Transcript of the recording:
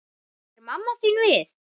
Er mamma þín við?